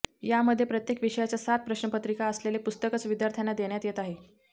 यामध्ये प्रत्येक विषयाच्या सात प्रश्नपत्रिका असलेले पुस्तकच विद्यार्थ्यांना देण्यात येत आहे